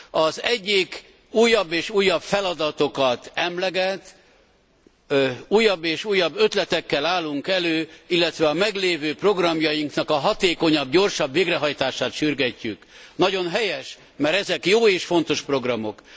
Az egyik újabb és újabb feladatokat emleget, újabb és újabb ötletekkel állunk elő, illetve a meglévő programjainknak a hatékonyabb, gyorsabb végrehajtását sürgetjük. Nagyon helyes, mert ezek jó és fontos programok.